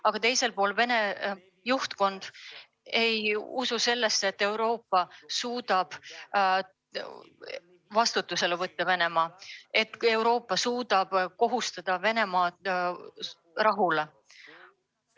Aga teiselt poolt Venemaa juhtkond ei usu, et Euroopa suudab Venemaad vastutusele võtta, et Euroopa suudab Venemaad rahuks kohustada.